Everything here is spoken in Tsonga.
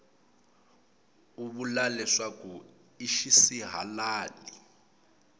u vula leswaku i xisihalali